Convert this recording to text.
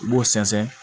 I b'o sɛnsɛn